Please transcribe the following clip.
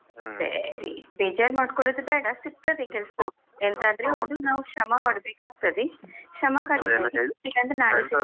ಸರಿ ಬೇಜಾರ್ ಮಾಡ್ಕೊಳುದು ಬೇಡ, ಸಿಗ್ತದೆ ಕೆಲಸ ಎಂತಾದ್ರೆ ಒಂದು ನಾವು ಶ್ರಮ ಪಡ್ಬೇಕಾಗ್ತದೆ.